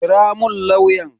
Kira mun lauyan.